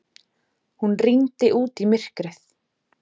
Hún rýndi út í myrkrið.